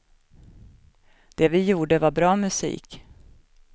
Det vi gjorde var bra musik.